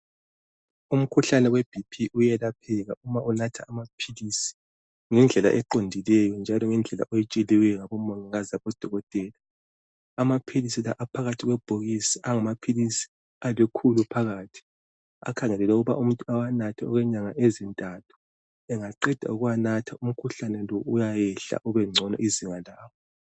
Umkhuhlane weBP uyelapheka uma umuntu enatha amaphilisi ngendlela eqondileyo njalo ngendlela ayitsheliweyo ngabomongikazi labo dokotela .Amaphilisi la aphakathi kwebhokisi angamaphilisi alikhulu phakathi. Akhangelelwe ukuthi umuntu awanathe okwenyanga ezintathu. Engaqeda ukuwanatha umkhuhlane lo uyayehla ubengcono izinga lawo.